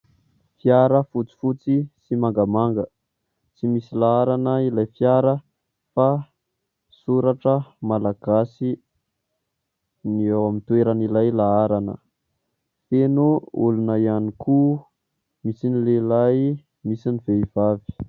Fiara fotsifotsy sy mangamanga. Tsy misy laharana ilay fiara fa soratra malagasy ny eo amin'ny toeran' ilay laharana. Feno olona ihany koa : misy ny lehilahy, misy ny vehivavy.